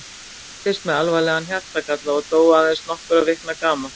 Það fæddist með alvarlegan hjartagalla og dó aðeins nokkurra vikna gamalt.